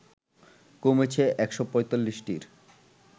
কমেছে ১৪৫টির